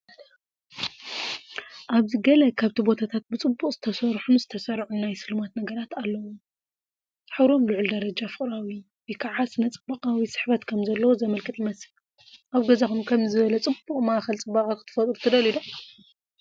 ኣብዚ ገለ ካብቲ ቦታታት ብጽቡቕ ዝተሰርሑን ዝተሰርዑን ናይ ስልማት ነገራት ኣለዎም። ሕብሮም ልዑል ደረጃ ፍቕራዊ/ስነ-ጽባቐዊ ስሕበት ከምዘለዎ ዘመልክት ይመስል። ኣብ ገዛኹም ከምዚ ዝበለ ጽቡቕ ማእከል ጽባቀ ክትፈጥሩ ትደልዩ ዶ?